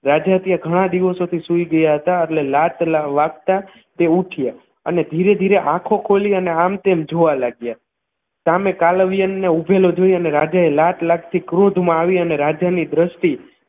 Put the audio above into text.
રાજા ત્યાં ઘણા દિવસોથી સૂઈ ગયા હતા એટલે લાત વાગતા તે ઉઠ્યા અને ધીરે ધીરે આંખો ખોલી અને આમ તેમ જોવા લાગ્યા સામે કાલવ્યનને ઊભેલો જોઈ અને રાજાએ લાત લાગ થી ક્રોધમાં આવી અને રાજાની દ્રષ્ટિ